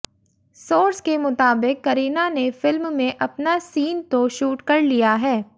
source के मुताबिक करीना ने फिल्म में अपना सीन तो शूट कर लिया है